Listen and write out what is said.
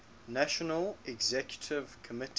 national executive committee